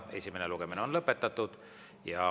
Esimene lugemine on lõpetatud.